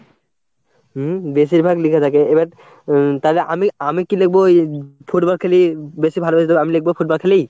উম বেশিরভাগ লিখা থাকে এবার উম তাহলে আমি, আমি কি লিখবো? ওই ফুটবল খেলি বেশি ভালোবেসে দেবো, আমি লিখবো ফুটবল খেলি?